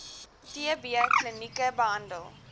tb klinieke behandel